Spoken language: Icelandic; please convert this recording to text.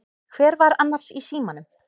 Hver var annars í símanum?